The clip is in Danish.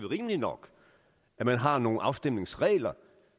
rimeligt nok at man har nogle afstemningsregler